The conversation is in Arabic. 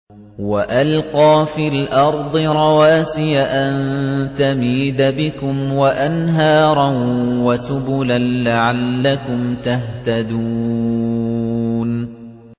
وَأَلْقَىٰ فِي الْأَرْضِ رَوَاسِيَ أَن تَمِيدَ بِكُمْ وَأَنْهَارًا وَسُبُلًا لَّعَلَّكُمْ تَهْتَدُونَ